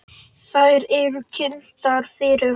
Þær eru kynntar fyrir honum.